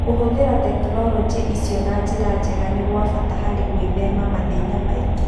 Kũhũthĩra tekinolonjĩ icio na njĩra njega nĩ kwa bata harĩ gwĩthema mathĩna mangĩ.